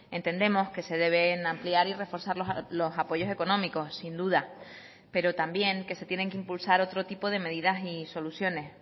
entendemos que se deben ampliar y reforzar los apoyos económicos sin duda pero también que se tienen que impulsar otro tipo de medidas y soluciones